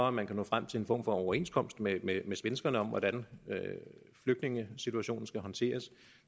at man kan nå frem til en form for overenskomst med svenskerne om hvordan flygtningesituationen skal håndteres